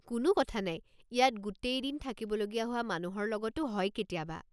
কোনো কথা নাই, ইয়াত গোটেই দিন থাকিবলগীয়া হোৱা মানুহৰ লগতো হয় কেতিয়াবা।